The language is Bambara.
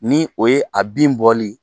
Ni o ye a bin bɔli.